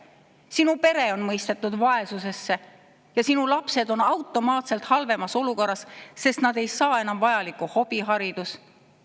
Sinu pere on mõistetud vaesusesse ja sinu lapsed on automaatselt halvemas olukorras, sest nad ei saa enam vajalikku hobiharidust.